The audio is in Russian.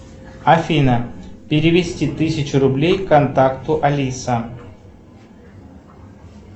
афина перевести тысячу рублей контакту алиса